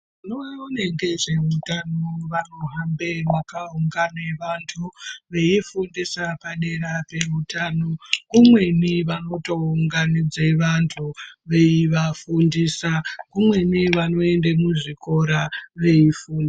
Vanoona nezveutano vanohambe makaungana vantu veyifundisa padera peutano, kumweni vanotounganidza vantu veyi vafundisa, kumweni vanoenda muzvikora veyifundisa.